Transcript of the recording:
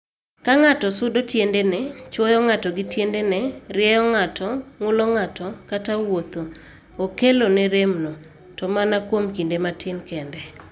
Ka ng'ato sudo tiende ne( chuoyo ng'ato gi tiendene, rieyo ng'ato, ng'ulo ng'ato, kata wuotho) okelone remno, to mana kuom kinde matin kende.